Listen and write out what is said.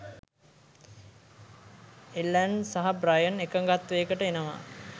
Ellen සහ Brian එකගත්වයකට එනවා